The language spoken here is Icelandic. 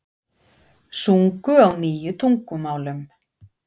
Sungu á níu tungumálum